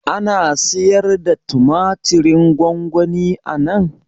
Ana sayarda tumatirin gwangwani anan?